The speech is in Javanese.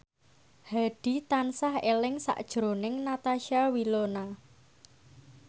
Hadi tansah eling sakjroning Natasha Wilona